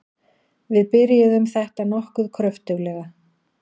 Við byrjuðum þetta nokkuð kröftuglega.